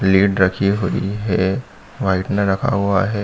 Plate रखी हुई हे व्हाइटनर रखा हुआ है।